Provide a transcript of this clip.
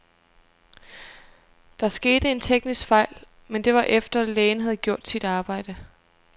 Der skete en teknisk fejl, men det var efter, lægen havde gjort sit arbejde.